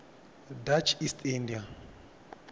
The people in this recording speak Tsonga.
dutch east india